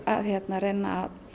reyna